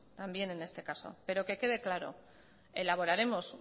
también en este caso pero que quede claro elaboraremos